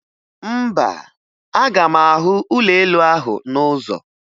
Mba, aga m ahụ ụlọelu ahụ n'ụzọ